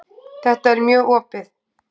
Þetta er mjög opið.